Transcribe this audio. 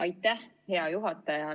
Aitäh, hea juhataja!